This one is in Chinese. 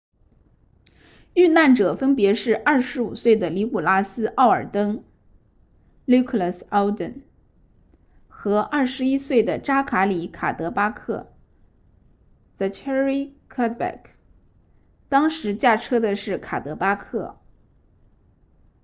遇难者分别是25岁的尼古拉斯奥尔登 nicholas alden 和21岁的扎卡里卡德巴克 zachary cuddeback 当时驾车的是卡德巴克